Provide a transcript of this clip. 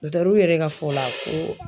yɛrɛ ka fɔ la ko